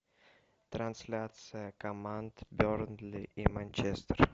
трансляция команд бернли и манчестер